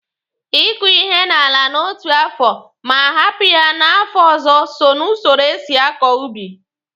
Ị kụ ihe n'ala n'otu afọ ma hapụ ya n'afọ ọzọ so ná usoro e si akọ ubi.